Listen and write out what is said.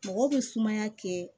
Mɔgɔ bɛ sumaya kɛ